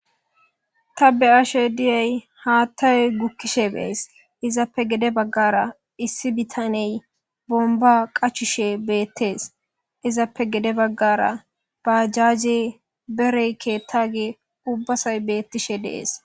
ta be ashe diyay haattayoy gukkiyaba be'ays izappe gede baggara issi bitaney bomba qachushe beettees izappe gede baggara baajaje berey ketaage ubbasay beettishe dees